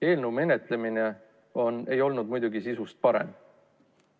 Eelnõu menetlemine ei olnud muidugi sisust parem.